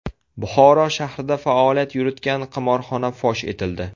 Buxoro shahrida faoliyat yuritgan qimorxona fosh etildi.